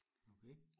Okay